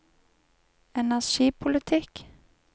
energipolitikk